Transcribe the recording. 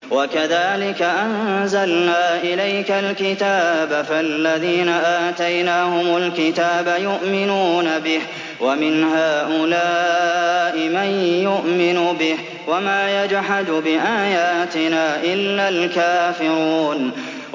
وَكَذَٰلِكَ أَنزَلْنَا إِلَيْكَ الْكِتَابَ ۚ فَالَّذِينَ آتَيْنَاهُمُ الْكِتَابَ يُؤْمِنُونَ بِهِ ۖ وَمِنْ هَٰؤُلَاءِ مَن يُؤْمِنُ بِهِ ۚ وَمَا يَجْحَدُ بِآيَاتِنَا إِلَّا الْكَافِرُونَ